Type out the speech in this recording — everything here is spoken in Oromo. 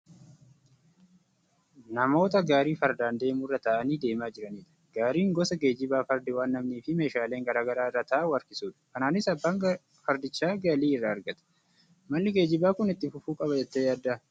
Namoota gaarii fardaan deemu irra taa'anii deemaa jiranidha. Gaariin gosa geejjibaa fardi waan namniifi meeshaaleen garaagaraa irra taa'u harkisudha. Kanaanis abbaan fardichaa galii irraa argata. Malli geejjibaa kun itti fufuu qaba jettee yaaddaa?